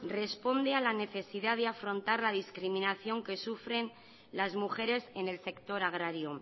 responde a la necesidad de afrontar la discriminación que sufren las mujeres en el sector agrario